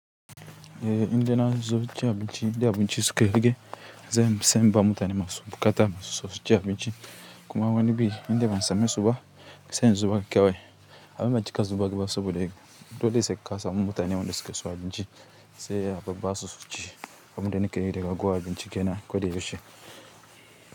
Eh, inda na zo cin abinci idna abinci suka rage, zan sam ba mutane masu buƙata su so ci abinci. Kuma wani bi indai ban samu suba sai in zubar kewai. Amma ban cika zubar ba saboda dole sai ka samo mutanen wanda suke so abinci sai a babba su ci. Abun da na ke yi da ragowa abinci kenan koda ya ushe.